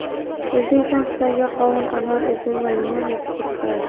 O‘zbekiston Xitoyga qovun, anor, uzum va limon eksport qiladi.